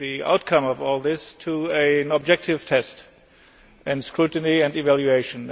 outcome of all this to an objective test and to scrutiny and evaluation.